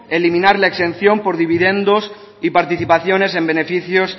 eliminar la exención por dividendos y participaciones en beneficios